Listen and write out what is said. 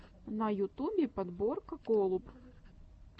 на ютюбе подборка голуб